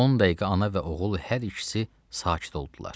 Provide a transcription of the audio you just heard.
10 dəqiqə ana və oğul hər ikisi sakit oldular.